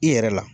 I yɛrɛ la